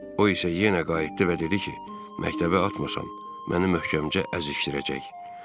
O isə yenə qayıtdı və dedi ki, məktəbə atmasam, məni möhkəmcə əzişdirəcək.